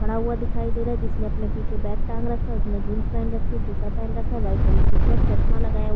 खड़ा हुआ दिखाई दे रहा है जिसने अपने पीछे बैग टांग रखा है उसने जीन्स पहेन रखी जूता पहेन रखा है वाइट कलर की शर्ट चश्मा लगाया हु--